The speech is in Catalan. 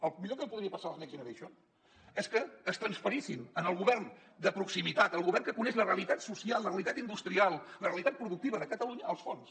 el millor que podria passar als next generation és que es transferissin al govern de proximitat al govern que coneix la realitat social la realitat industrial la realitat productiva de catalunya els fons